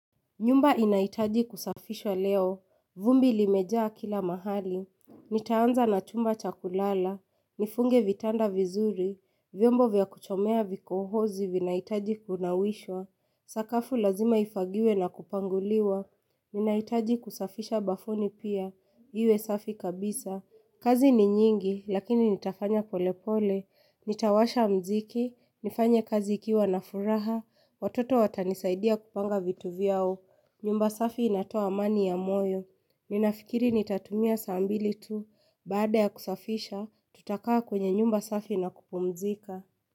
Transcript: Nyumba inaitaji kusafishwa leo. Vumbi limejaa kila mahali. Nitaanza na chumba cha kulala. Nifunge vitanda vizuri. Vyombo vya kuchomea vikohozi vinahitaji kunawishwa. Sakafu lazima ifagiwe na kupanguliwa. Ninaitaji kusafisha bafuni pia. Iwe safi kabisa. Kazi ni nyingi lakini nitafanya pole pole, nitawasha mziki, nifanya kazi ikiwa na furaha, watoto watanisaidia kupanga vitu vyao, nyumba safi inatoa amani ya moyo, ninafikiri nitatumia saa mbili tu, baada ya kusafisha tutakaa kwenye nyumba safi na kupumzika.